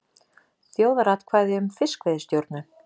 Þjóðaratkvæði um fiskveiðistjórnun